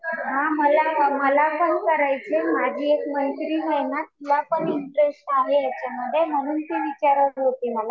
हा मला, मला पण करायचंय. माझी एक मैत्रीण आहे ना तिला पण इंटरेस्ट आहे याच्यामध्ये. म्हणून ती विचारत होती मला.